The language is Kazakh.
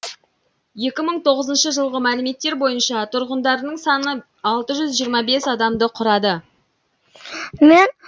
екі мың тоғызыншы жылғы мәліметтер бойынша тұрғындарының саны алты жүз жиырма бес адамды құрады